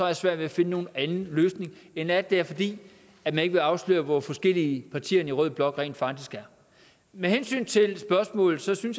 jeg svært ved at finde nogen anden løsning end den at det er fordi man ikke vil afsløre hvor forskellige partierne i rød blok rent faktisk er med hensyn til spørgsmålet synes jeg